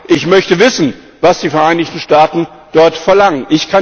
Ich möchte wissen, was die Vereinigten Staaten dort verlangen.